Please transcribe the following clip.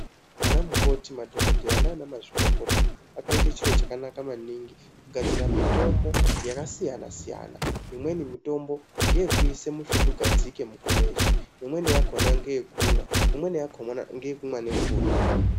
Anamukoti madhokodheya nanamazvikokota akaite chiro chakanaka maningi kugadzira mitombo yakasiyanasiyana imweni mitombo ngeekuise musvutu ngadzike mukomechi ,imweni yakona ngekumwa, imweni yakona ngekumwa nemvura.